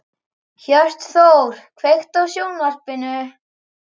Hjörtþór, kveiktu á sjónvarpinu.